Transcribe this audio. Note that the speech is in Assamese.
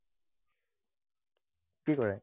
কি কৰে?